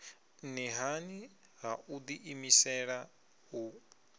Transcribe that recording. nṱhani ha u ḓiimisela u